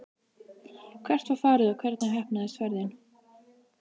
Hvert var farið og hvernig heppnaðist ferðin?